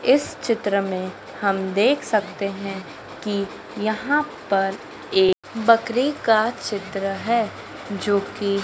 इस चित्र में हम देख सकते हैं कि यहां पर एक बकरी का चित्र है जो कि--